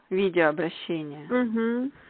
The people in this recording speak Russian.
видеообращение угу